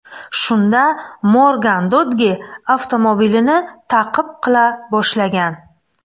Shunda Morgan Dodge avtomobilini ta’qib qila boshlagan.